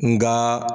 Nga